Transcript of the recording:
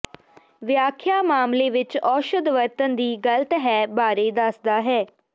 ਵਿਆਖਿਆ ਮਾਮਲੇ ਵਿਚ ਔਸ਼ਧ ਵਰਤਣ ਦੀ ਗ਼ਲਤ ਹੈ ਬਾਰੇ ਦੱਸਦਾ ਹੈ